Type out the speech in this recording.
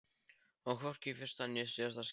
Og hvorki í fyrsta né síðasta skipti.